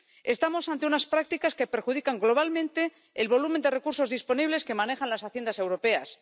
Estamos ante unas prácticas que perjudican globalmente el volumen de recursos disponibles que manejan las Haciendas europeas.